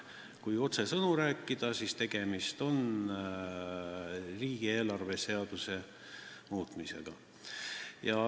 Kui otsesõnu rääkida, siis on tegemist riigieelarve seaduse muutmisega.